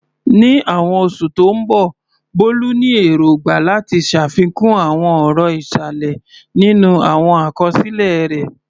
Ní àwọn oṣù tó ń bọ̀, Bolu ní èrògbà láti ṣàfikún àwọn ọ̀rọ̀ ìsàlẹ̀ nínú àwọn àkọsílẹ̀ rẹ̀.